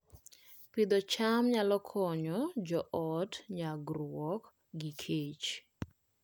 Pidho cham nyalo konyo joot nyagruok gi kech